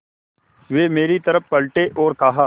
वे मेरी तरफ़ पलटे और कहा